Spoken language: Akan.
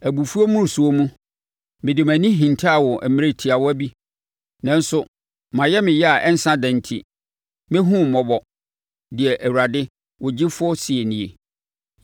Abufuo mmorosoɔ mu, mede mʼani hintaa wo mmerɛ tiawa bi, nanso mʼayamyɛ a ɛnsa da enti, mɛhunu wo mmɔbɔ,” deɛ Awurade, wo Gyefoɔ seɛ nie.